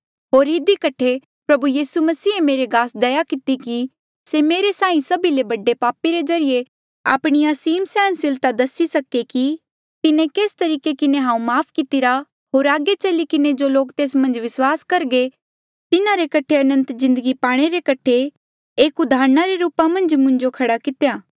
होर इधी कठे प्रभु यीसू मसीहे मेरे गास दया किती कि से मेरे साहीं सभी ले बडे पापी रे ज्रीए आपणी असीम सैहनसीलता दसी सके कि तिन्हें केस तरीके किन्हें हांऊँ माफ़ कितिरा होर आगे चली किन्हें जो लोक तेस मन्झ विस्वास करघे तिन्हारे कठे अनंत जिन्दगी पाणे रे कठे एक उदाहरणा रे रूपा मन्झ मुंजो खड़ा कितेया